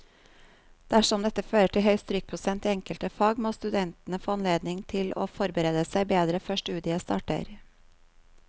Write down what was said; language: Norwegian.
Dersom dette fører til høy strykprosent i enkelte fag, må studentene få anledning til å forberede seg bedre før studiet starter.